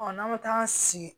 n'an bɛ taa sigi